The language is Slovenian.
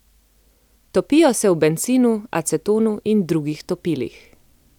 Topijo se v bencinu, acetonu in drugih topilih.